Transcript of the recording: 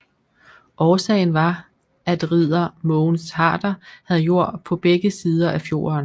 Årsagen var at Ridder Mogens Harder havde jord på begge sider af fjorden